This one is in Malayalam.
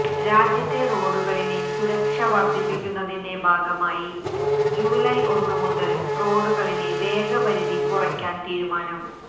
രാജ്യത്തെ റോഡുകളിലെ സുരക്ഷ വർദ്ധിപ്പിക്കുന്നതിന്റെ ഭാഗമായി ജൂലൈ ഒന്നുമുതൽ റോഡുകളിലെ വേഗപരിധി കുറയ്ക്കാൻ തീരുമാനം